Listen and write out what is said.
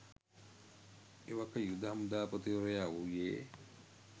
එවක යුද හමුදාපතිවරයා වුයේ